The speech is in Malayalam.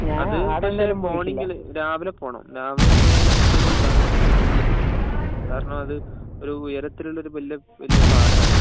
അത് അഡെയെല്ലൊരു മോർണിംഗിൽ രാവിലെ പോണം രാവിലെ പോയാലേ അതിന്റെയൊരു ഭംഗി കിട്ടൂ കാരണം അത് ഒരു ഉയരത്തിലുള്ള വലിയ പാറയാണ്